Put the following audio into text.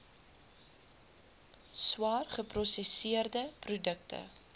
swaar geprosesseerde produkte